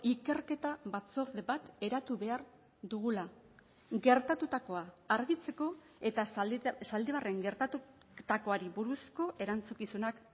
ikerketa batzorde bat eratu behar dugula gertatutakoa argitzeko eta zaldibarren gertatutakoari buruzko erantzukizunak